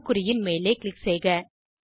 அம்புக்குறியின் மேலே க்ளிக் செய்க